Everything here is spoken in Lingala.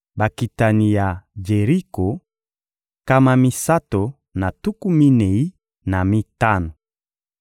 Bakitani ya Jeriko: nkama misato na tuku minei na mitano.